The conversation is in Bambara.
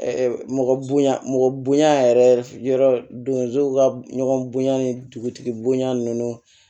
mɔgɔ bonya mɔgɔ bonya yɛrɛ yɔrɔ dow ka ɲɔgɔn bonya ni dugutigi bonya ninnu